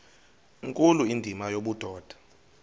nkulu indima yobudoda